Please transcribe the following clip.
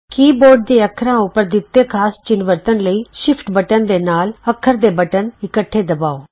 ਕੀ board ਦੇ ਅੱਖਰਾਂ ਉਪਰ ਦਿੱਤੇ ਖਾਸ ਚਿੰਨ੍ਹ ਵਰਤਣ ਲਈ ਸ਼ਿਫਟ ਬਟਨ ਦੇ ਨਾਲ ਅੱਖਰ ਦੇ ਬਟਨ ਇਕੱਠੇ ਦਬਾਉ